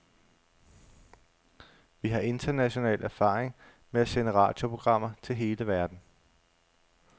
Vi har international erfaring med at sende radioprogrammer til hele verden.